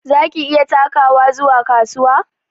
Za ki iya takawa zuwa kasuwa?